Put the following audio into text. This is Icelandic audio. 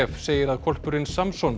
segir að hvolpurinn Samson